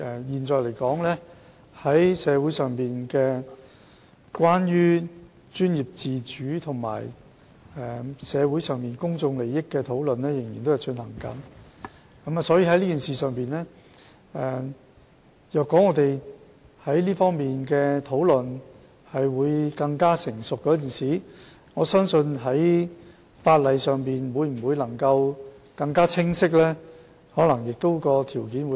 現時，社會上有關專業自主與公眾利益的討論仍在進行，所以我相信當這方面的討論更趨成熟時，法例可能會更加清晰，而修例的條件亦會更好。